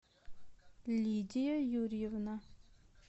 лидия юрьевна